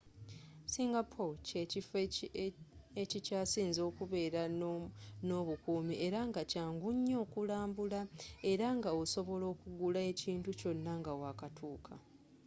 singapore kye kifo ekikyasinze okubere n'obukumi era nga kyangu nnyo n'okulambula era nga osobola okugula ekinti kyona nga wa katuka